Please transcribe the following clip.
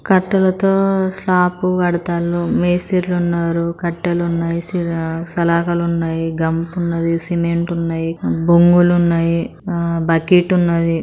కట్టలతో slab కడతాండ్లు మేస్తిరులు ఉన్నారు. కట్టలు ఉన్నాయి. సిల సలాకులు ఉన్నాయి. గంప ఉన్నది. సిమెంట్ ఉన్నది బొంగులు ఉన్నాయి బకెట్ ఉన్నది.